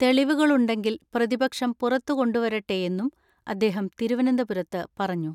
തെളിവുകളുണ്ടെങ്കിൽ പ്രതിപക്ഷം പുറത്തുകൊണ്ടുവരട്ടെയെന്നും അദ്ദേഹം തിരുവനന്തപുരത്ത് പറഞ്ഞു.